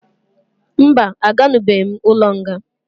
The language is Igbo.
Mba, a ganubeghi m ụlọ nga